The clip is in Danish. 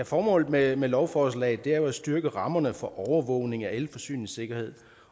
formålet med med lovforslaget er jo at styrke rammerne for overvågning af elforsyningssikkerhed